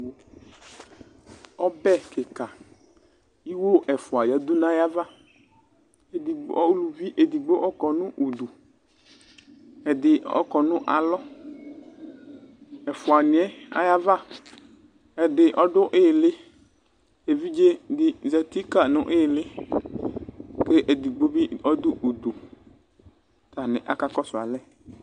ɔbɛ kika iwo ɛfua yadu nu ayava, edi, uluvi edigbo kɔnu udu ,ɛdi ɔkɔnu alɔ ɛfuaniɛ ayava ɛdi ɔdu iɣili; evidze di zati kayi nu iyili ku edigbo bi ɔdu udu ,ku atani akakɔsu alɛ